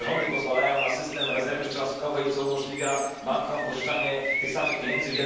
To rządy pozwalają na system rezerwy cząstkowej, który umożliwia bankom wielokrotne pożyczanie tych samych pieniędzy.